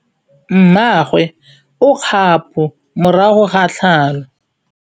Mmagwe o kgapô morago ga tlhalô.